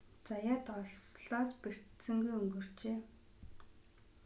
заяат ослоос бэртсэнгүй өнгөрчээ